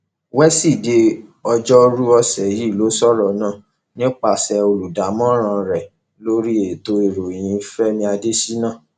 wíṣídẹẹ ọjọrùú ọsẹ yìí ló sọrọ náà nípasẹ olùdámọràn rẹ lórí ètò ìròyìn fẹmi adésínà